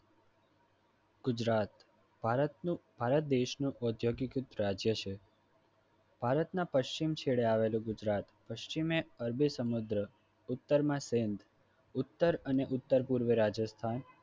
ગુજરાત ભારતનું ભારત દેશનું રાજ્ય છે ભારતના પશ્ચિમ છેડે આવેલું ગુજરાત પશ્ચિમે અરબી સમુદ્ર ઉત્તરમાં ઉત્તર અને ઉત્તરપૂર્વે રાજસ્થાન